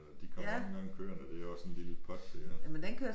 De kommer også nogle gange kørende det er også en lille pot det er